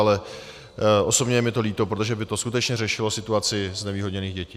Ale osobně je mi to líto, protože by to skutečně řešilo situaci znevýhodněných dětí.